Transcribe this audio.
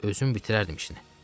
Özüm bitirərdim işini.